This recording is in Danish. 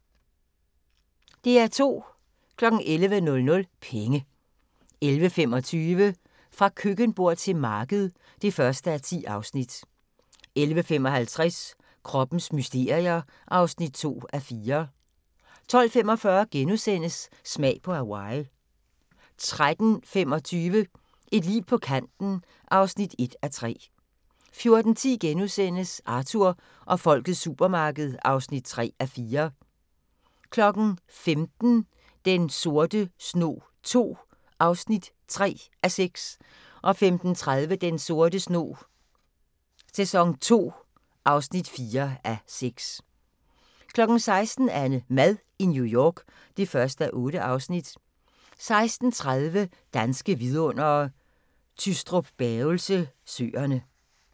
11:00: Penge 11:25: Fra køkkenbord til marked (1:10) 11:55: Kroppens mysterier (2:4) 12:45: Smag på Hawaii * 13:25: Et liv på kanten (1:3) 14:10: Arthur og folkets supermarked (3:4)* 15:00: Den sorte snog II (3:6) 15:30: Den sorte snog II (4:6) 16:00: AnneMad i New York (1:8) 16:30: Danske Vidundere: Tystrup-Bavelse Søerne